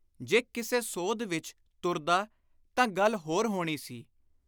ਜੇ ਕਿਸੇ ਸੋਧ ਵਿਚ ਤੁਰਦਾ ਤਾਂ ਗੱਲ ਹੋਰ ਹੋਣੀ ਸੀ।